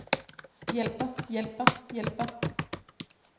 hjælper hjælper hjælper